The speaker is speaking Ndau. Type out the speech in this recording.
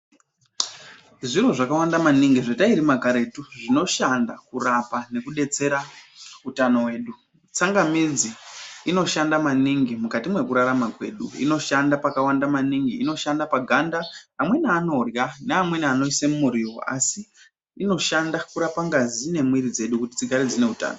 Zviro zvakawanda maningi zvatairima karetu zvinoshanda kurapa nekudetsera utano hwedu tsangamidzi inoshanda maningi mukati mwekurarama kwedu Inoshanda pakawanda maningi inoshanda paganda amweni anorya Neamweni anoise mumuriwo asi inoshanda kurapa ngazi nemwiri dzedu kuti dzigare dzine utano.